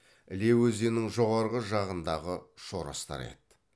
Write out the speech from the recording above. іле өзенінің жоғары жағындағы шоростар еді